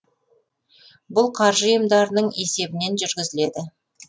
бұл қаржы ұйымдарының есебінен жүргізіледі